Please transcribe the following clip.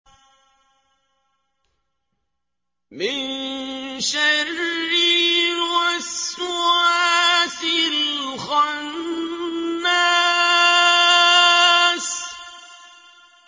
مِن شَرِّ الْوَسْوَاسِ الْخَنَّاسِ